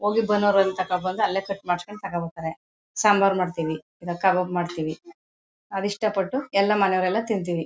ಹೋಗಿ ತಕಂಡ್ ಬಂದು ಅಲ್ಲೇ ಕತ್ತರಿಸಿ ಮಾಡ್ಸ್ಕೊಂಡ್ ತಕಬರ್ತಾರೆ ಸಾಂಬಾರ್ ಮಾಡ್ತಿವಿ ಇಲ್ಲ ಕಬಾಬ್ ಮಾಡ್ತಿವಿ ಅವು ಇಷ್ಟ ಪಟ್ಟು ಎಲ್ಲಾ ಮನೆಯವರೆಲ್ಲಾ ತಿಂತೀವಿ.